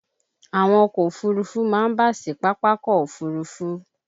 Àwọn ọkọ̀ Òfurufú máa ń bà sí Pápákọ̀ òfuurufú.